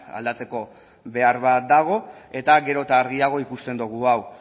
aldatzeko behar bat dago eta gero eta argiago ikusten dugu hau